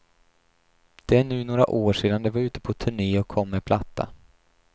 Det är nu några år sedan de var ute på turne och kom med platta.